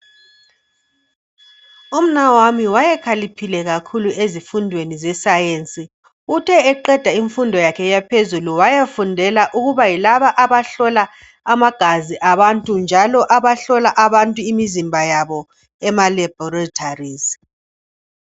umnawami wayekhaliphile kakhulu ezifundweni ze science uthe eqeda imfundo yakhe yaphezulu wayafundela ukuba yilaba abahlola amagazi abantu njalo abahlola abantu imizimba yabo ema laboratories